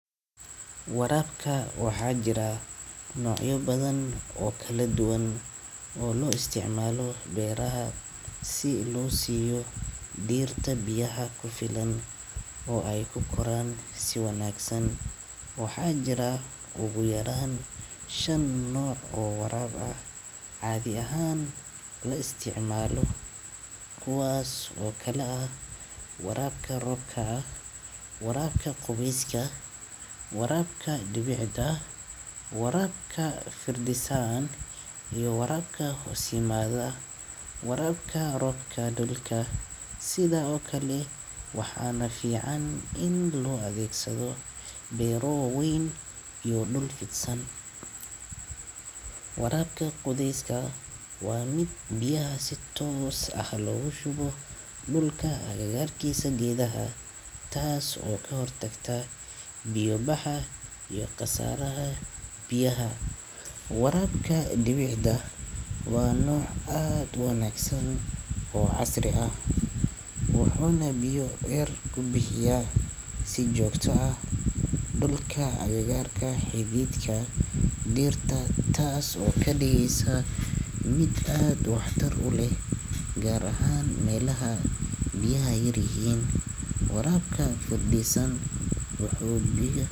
Waraabka waxa jira noocyo badan oo kala duwan oo loo isticmaalo beeraha, si loo siiyo dhirta biyaha ku filan oo ay ku koraan si wanaagsan. Waxa jiro ugu yaraan shan nooc oo waraabka oo la isticmaalo, kuwaas oo kala ah: waraabka roobka, waraabka qubeyska, waraabka dhibicda, waraabka firdhis ahaan, iyo waraabka hoose. Waraabka roobka dhulka, sidoo kale, waxa fiican in loo adeegsado beero waaweyn iyo dhul fidsan. Waraabka qubeyska waa mid biyaha si toos loogu shubo dhulka agagaarka geedaha, taas oo ka hortagta biyo baxa iyo khasaaraha biyaha. Waraabka dhibicda waa nooc aad u wanaagsan oo casri ah; wuxuuna biyo yar ku bixiyaa si joogto ah dhulka agagaarka xididka dhirta, taas oo ka dhigeysa mid aad wax tar u leh, gaar ahaan meelaha biyaha ay yar yihiin.